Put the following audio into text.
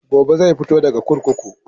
Gobe zai fito daga kurkuku.